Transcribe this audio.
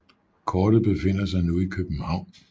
Kortet befinder sig nu i København